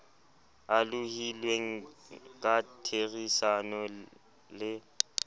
a lohilweng ka therisano le